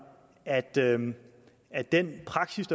at den at den praksis